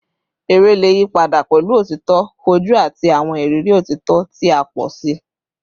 Ere le yipada pẹlu otito foju ati awọn iriri otito ti a pọ si